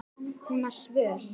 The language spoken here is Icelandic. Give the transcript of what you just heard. Hún var svöl.